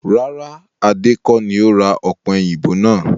Rárá! Adé kọ ní ó ra ọ̀pẹ̀yìnbo náà